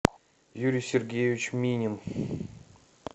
юрий сергеевич минин